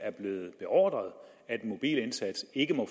er blevet beordret at den mobile indsats ikke må